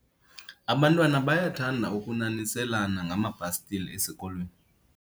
abantwana bayathanda ukunaniselana ngamabhastile esikolweni